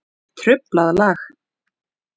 Truflað lag.